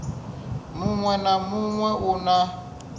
muṅwe na muṅwe u na